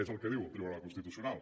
és el que diu el tribunal constitucional